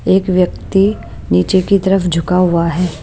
एक व्यक्ति नीचे की तरफ झुका हुआ है।